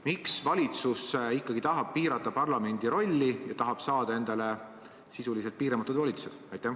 Miks valitsus ikkagi tahab piirata parlamendi rolli ja saada sisuliselt piiramatud volitused?